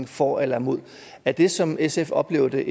for eller imod er det som sf oplever det